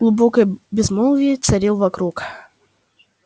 глубокое безмолвие царило вокруг